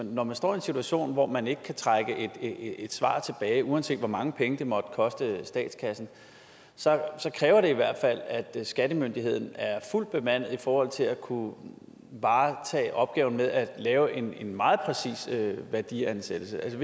når man står en situation hvor man ikke kan trække et svar tilbage uanset hvor mange penge det måtte koste statskassen så kræver det i hvert fald at skattemyndigheden er fuldt bemandet i forhold til at kunne varetage opgaven med at lave en en meget præcis værdiansættelse altså